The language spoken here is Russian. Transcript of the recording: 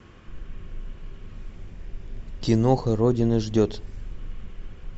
киноха родина ждет